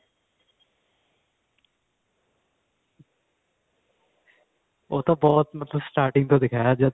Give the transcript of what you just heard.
ਉਹ ਤਾਂ ਬਹੁਤ ਮਤਲਬ starting ਤੋਂ ਦਿਖਾਇਆ